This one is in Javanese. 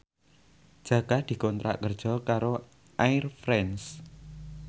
Jaka dikontrak kerja karo Air France